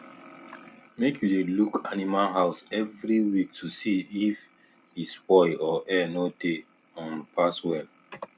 make you dey look animal house every week to see if e spoil or air no dey um pass well